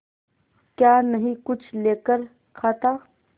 क्या नहीं कुछ लेकर खाता